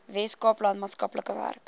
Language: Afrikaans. weskaapland maatskaplike werk